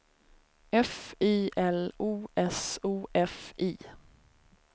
F I L O S O F I